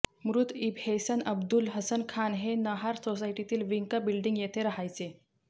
मृत ईबनेहसन अब्दुल हसन खान हे नहार सोसायटीतील विंका बिल्डिंग येथे रहायचे